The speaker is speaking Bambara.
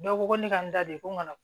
Dɔw ko ko ne ka n da don ko n ka na